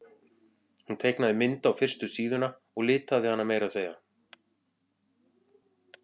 Hún teiknaði mynd á fyrstu síðuna og litaði hana meira að segja.